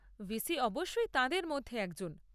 VC অবশ্যই তাঁদের মধ্যে একজন।